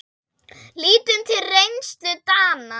Lítum til reynslu Dana.